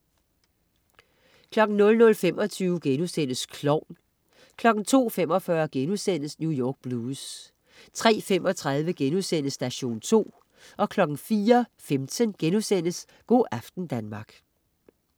00.25 Klovn* 02.45 New York Blues* 03.35 Station 2* 04.15 Go' aften Danmark*